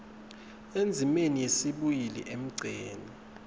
endzimeni yesibili emgceni